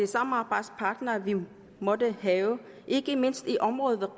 samarbejdspartnere vi vi måtte have ikke mindst i området ved